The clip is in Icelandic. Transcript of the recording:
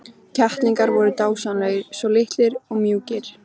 Kettlingarnir voru dásamlegir, svo litlir og mjúkir.